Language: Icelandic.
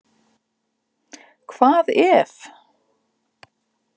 Hvað ef.?